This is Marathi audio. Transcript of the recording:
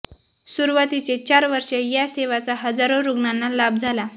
सुरवातीचे चार वर्ष या सेवाचा हजारो रुग्णांना लाभ झाला